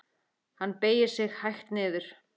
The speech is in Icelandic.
Hann beygir sig hægt niður.